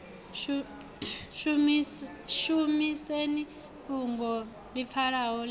shumiseni fhungoni ḽi pfalaho ḽe